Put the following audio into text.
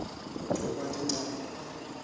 kugcokwa tincabule